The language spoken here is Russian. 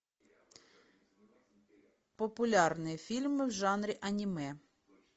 популярные фильмы в жанре аниме